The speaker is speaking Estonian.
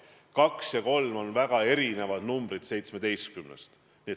Kaks ja kolm on väga erinevad numbrid seitsmeteistkümnest.